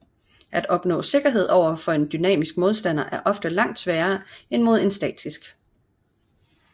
At opnå sikkerhed over for en dynamisk modstander er ofte langt sværere end mod en statisk